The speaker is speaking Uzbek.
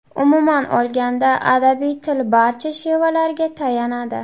Umuman olganda, adabiy til barcha shevalarga tayanadi.